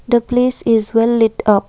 the place is well lit up.